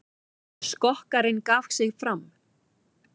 Skokkarinn gaf sig fram